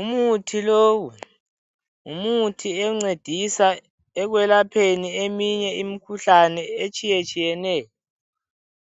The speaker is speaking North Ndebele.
Umuthi lowu. Ngumuthi oncedisa ekwelapheni eminye imikhuhlane etshiyetshiyeneyo